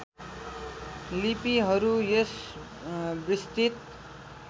लिपिहरू यस विस्तृत